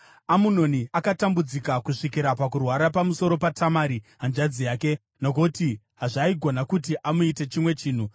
Amunoni akatambudzika kusvikira pakurwara pamusoro paTamari hanzvadzi yake, nokuti hazvaigona kuti amuite chimwe chinhu.